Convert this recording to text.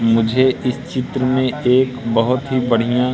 मुझे इस चित्र में एक बहोत ही बढ़िया--